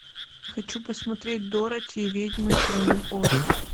хочу посмотреть дороти и ведьмы страны оз